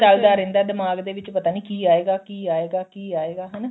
ਚੱਲਦਾ ਰਹਿੰਦਾ ਦਿਮਾਗ ਦੇ ਵਿੱਚ ਪਤਾ ਨੀ ਕੀ ਆਏਗਾ ਕੀ ਆਏਗਾ ਕੀ ਆਏਗਾ ਹਨਾ